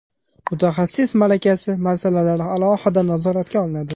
Mutaxassis malakasi masalalari alohida nazoratga olinadi.